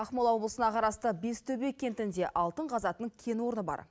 ақмола облысына қарасты бестөбе кентінде алтын қазатын кен орны бар